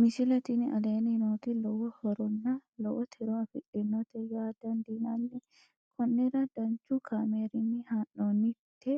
misile tini aleenni nooti lowo horonna lowo tiro afidhinote yaa dandiinanni konnira danchu kaameerinni haa'noonnite